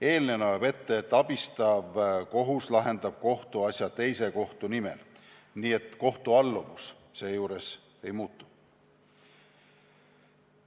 Eelnõu näeb ette, et abistav kohus lahendab kohtuasja teise kohtu nimel, nii et kohtu alluvus seejuures ei muutu.